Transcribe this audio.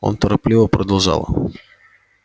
он торопливо продолжал